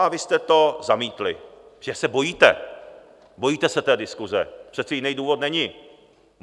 A vy jste to zamítli, že se bojíte, bojíte se té diskuse, přece jiný důvod není.